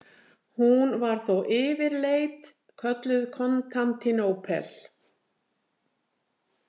Hún var þó yfirleit kölluð Kontantínópel.